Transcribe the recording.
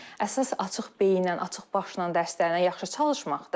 Əsas açıq beyinlə, açıq başla dərslərini yaxşı çalışmaqdır.